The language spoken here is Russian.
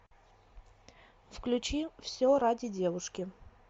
включи все ради девушки